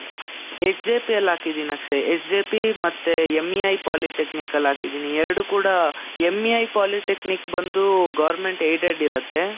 SJP ಅಲ್ ಹಾಕಿದ್ದೀನಿ Akshay. SJP , ಮತ್ತೆ MEI polytechnic ಆಲ್ ಹಾಕಿದ್ದೀನಿ. ಎರಡೂ ಕೂಡಾ, MEI polytechnic ಬಂದೂ government aided ಇರತ್ತೆ,